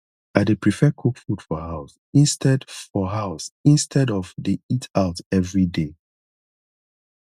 i dey prefer cook food for house instead for house instead of dey eat out every day